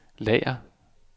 lager